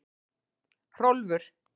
Hrólfur